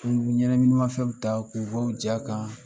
Kun bɛ ɲɛnɛminimafɛnw ta k'u' bɔ u ja kan